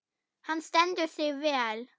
Hann stendur sig vel.